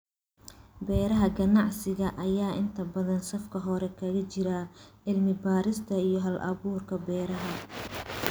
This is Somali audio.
Beeraha ganacsiga ayaa inta badan safka hore kaga jira cilmi baarista iyo hal-abuurka beeraha.